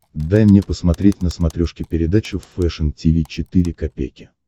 дай мне посмотреть на смотрешке передачу фэшн ти ви четыре ка